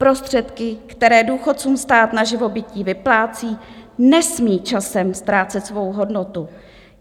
Prostředky, které důchodcům stát na živobytí vyplácí, nesmí časem ztrácet svou hodnotu.